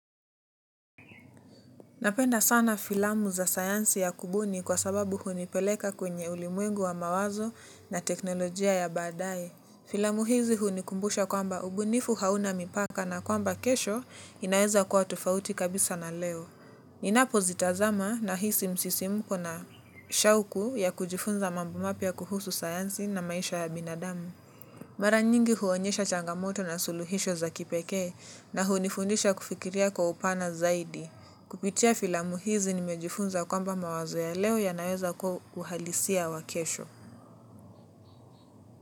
Napenda sana filamu za sayansi ya kubuni kwa sababu hunipeleka kwenye ulimwengu wa mawazo na teknolojia ya baadae. Filamu hizi hunikumbusha kwamba ubunifu hauna mipaka na kwamba kesho inaeza kuwa tofauti kabisa na leo. Ninapo zitazama nahisi msisimko na shauku ya kujifunza mambo mapya kuhusu sayansi na maisha ya binadamu. Mara nyingi huonyesha changamoto na suluhisho za kipeke na hunifundisha kufikiria kwa upana zaidi. Kupitia filamu hizi nimejifunza kwamba mawazo ya leo yanaweza kuwa uhalisia wa kesho.